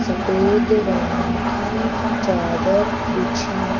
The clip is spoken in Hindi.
सफेद रंग की चादर बिछी --